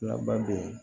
Labadon